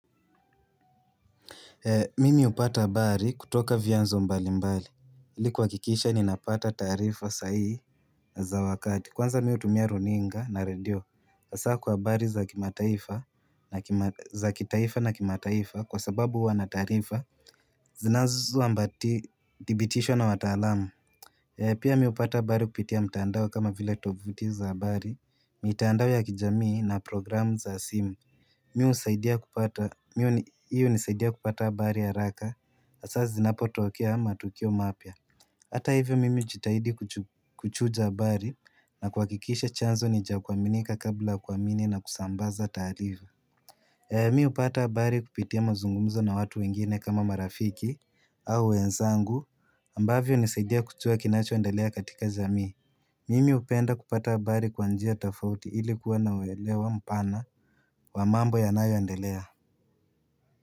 Mimi hupata habari kutoka vianzo mbali mbali. iLi kuha kikisha ninapata taarifa sa hihi za wakati. Kwanza mi hutumia runinga na radio. Hasa kwa habari za kitaifa na kimataifa kwa sababu huwana taarifa. Zinazo ambati dhibitishwa na wataalam. Pia mi hupata habari kupitia mtandao kama vile tovuti za habari. Mitaandao ya kijamii na programu za simu. Hii hunisaidia kupata habari ya haraka hasa zinapotokea matukio mapya Hata hivyo mimi hujitahidi kuchuja habari na kuhakikisha chanzo nicha kuaminika kabla kuamini na kusambaza taarifa Mi hupata habari kupitia mazungumzo na watu wengine kama marafiki au wenzangu ambavyo hunisaidia kujua kinachoendelea katika jamii Mimi hupenda kupata habari kwa njia tofauti ili kuwa nauelewa mpana wa mambo ya nayo endelea.